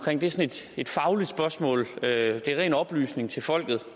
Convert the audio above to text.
et fagligt spørgsmål det er ren oplysning til folket